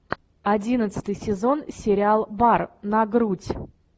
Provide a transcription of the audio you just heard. одиннадцатый сезон сериал бар на грудь